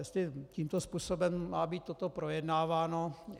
Jestli tímto způsobem má být toto projednáváno...